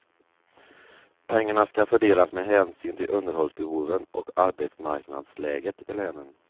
Pengarna ska fördelas med hänsyn till underhållsbehoven och arbetsmarknadsläget i länen.